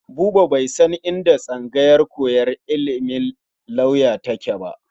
Buba bai san inda tsangayar koyar da ilimin lauya take ba.